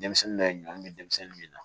Denmisɛnnin dɔ ye ɲɔmi denmisɛnnin min na